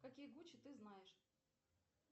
какие гучи ты знаешь